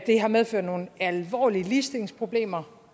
det har medført nogle alvorlige ligestillingsproblemer